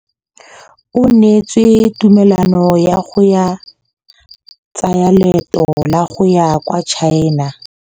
O neetswe tumalanô ya go tsaya loetô la go ya kwa China.